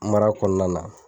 Mara kɔnɔna la